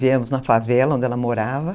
Viemos na favela onde ela morava,